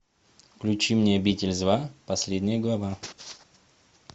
включи мне обитель зла последняя глава